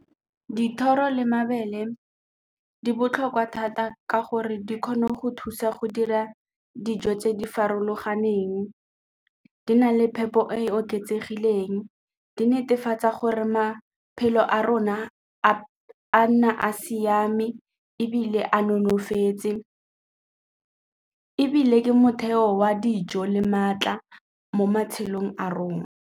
Dithoro le mabele di botlhokwa thata ka gore di kgona go thusa go dira dijo tse di farologaneng, di na le phepo e e di netefatsa gore maphelo a rona a nna a siame ebile a nonofetse ebile ke motheo wa dijo le maatla mo matshelong a rona.